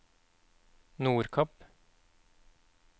Nordkapp